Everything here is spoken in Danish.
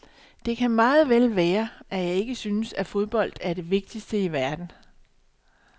Det kan meget vel være, at jeg ikke synes, at fodbold er det vigtigste i verden.